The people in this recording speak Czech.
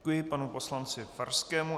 Děkuji panu poslanci Farskému.